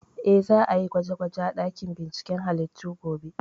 Eh, za a yi gwaje gwaje a ɗakin binciken halittu gobe